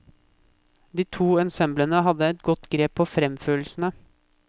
De to ensemblene har et godt grep på fremførelsene.